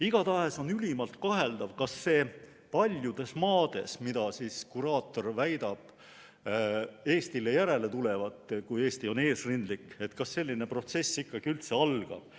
Igatahes on ülimalt kaheldav, kas paljudes maades, mida kuraator väidab Eestile järele tulevat, kui Eesti on eesrindlik, selline protsess ikkagi üldse algab.